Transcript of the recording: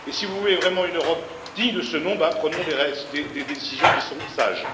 Et si vous voulez vraiment une Europe digne de ce nom, prenons des décisions qui sont sages!